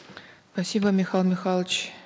спасибо михаил михайлович